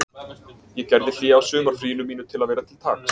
Ég gerði hlé á sumarfríinu mínu til að vera til taks